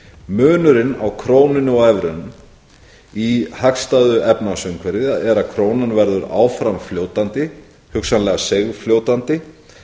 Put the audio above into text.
munurinn á krónunni og evrunni í hagstæðu efnahagsumhverfi er að krónan verður áfram fljótandi hugsanlega seigfljótandi